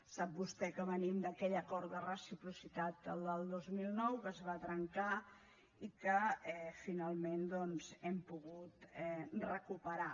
sap vostè que venim d’aquell acord de reciprocitat el del dos mil nou que es va trencar i que finalment doncs hem pogut recuperar